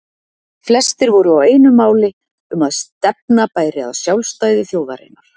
Flestir voru á einu máli um að stefna bæri að sjálfstæði þjóðarinnar.